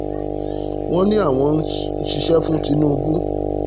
wọ́n ní àwọn ń ṣiṣẹ́ fún tinubu